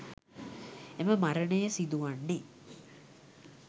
එම මරණය සිදුවන්නේ